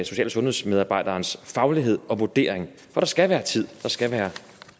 social og sundhedsmedarbejderens faglighed og vurdering der skal være tid der skal være